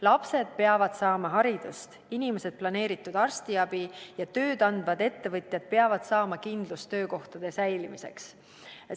Lapsed peavad saama haridust, inimesed planeeritud arstiabi ja tööd andvad ettevõtjad peavad saama kindlust töökohtade säilimiseks.